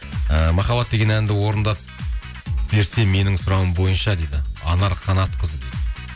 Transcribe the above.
і махаббат деген әнді орындап берсе менің сұрауым бойынша дейді анар қанатқызы дейді